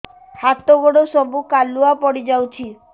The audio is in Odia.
ହାତ ଗୋଡ ସବୁ କାଲୁଆ ପଡି ଯାଉଛି